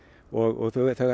og